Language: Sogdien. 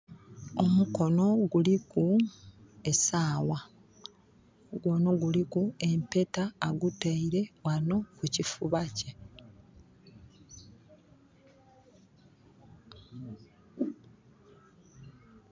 Omukonho guliku esagha, omukonho guliku empeta aguteire ghano ku kifuba kye.